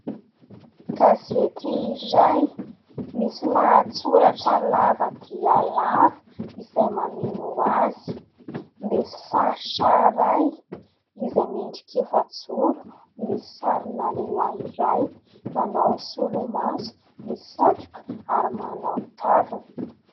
Gazeti iray misy lahatsoratra lava dia lava izay mameno azy, misy faritra iray izay miendrika efa-joro misy sarina lehilahy iray manao solomaso, misy satroka ary manao kavina.